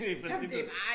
I princippet